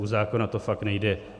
U zákona to fakt nejde.